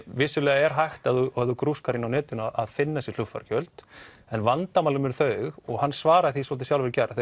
vissulega er hægt ef þú grúskar inni á netinu að finna þessi flugfargjöld en vandamálin eru þau og hann svaraði því svolítið sjálfur í gær að